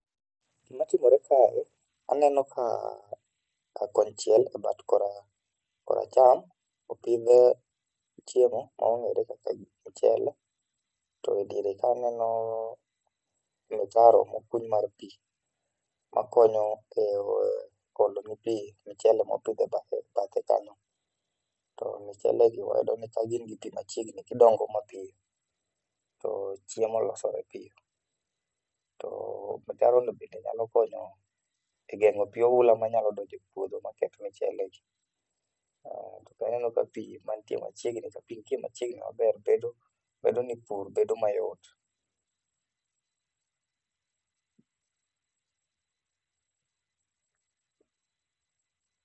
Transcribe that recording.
Gima timore kae aneno ka kon chiel e bat koracham opidh chiemo ma ong'ere kaka mchele to diere ka aneno mtaro mokuny mar pi makonyo e olo ne pii mchele mopidh e badhe kanyo, to mchele gi wayudo ni ka gin gi pi machiegni gindogo mapiyo to chiemo losore piyo to mtaro no bende nyalo konyo dengo pi oula manyalo donjo e puodho maketh mchele gi, aneno ka pi nitie machiegni maber bedo ni pur bedo mayot